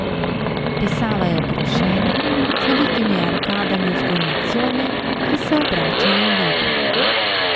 Pisava je okrašena, z velikimi arkadami v zgornji coni, ki se obračajo v levo.